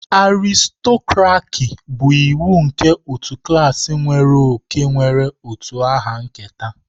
Aristokraki bụ iwu nke otu klaasị nwere oke nwere utu aha nketa.